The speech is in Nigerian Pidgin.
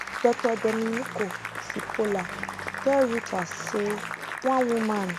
dr domenico cipolla tell reuters say one woman